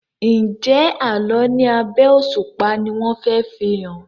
Njé Àlọ ní abé òṣùpá ní wón fè fihàn?